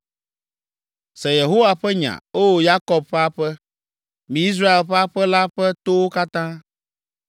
Se Yehowa ƒe nya, O Yakob ƒe aƒe, mi Israel ƒe aƒe la ƒe towo katã.